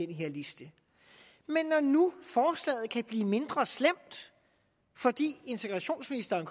den her liste men når nu forslaget kan blive mindre slemt fordi integrationsministeren